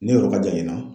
Ne yɔrɔ ka jan ɲina